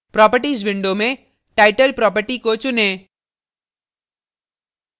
properties window में title properties को चुनें